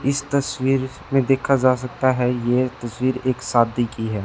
इस तस्वीर में देखा जा सकता हैं ये तस्वीर एक सादी की है।